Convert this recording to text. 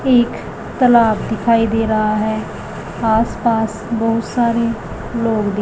एक तालाब दिखाई दे रहा है आस पास बहुत सारे लोग--